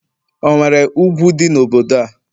onwere ugwu di n'obodo a?